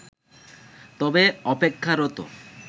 তবে অপেক্ষারত